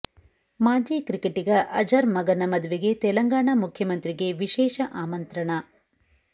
ಮಾಜಿ ಕ್ರಿಕೆಟಿಗ ಅಜರ್ ಮಗನ ಮದುವೆಗೆ ತೆಲಂಗಾಣ ಮುಖ್ಯಮಂತ್ರಿಗೆ ವಿಶೇಷ ಆಮಂತ್ರಣ